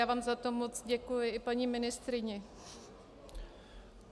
Já vám za to moc děkuji, i paní ministryni.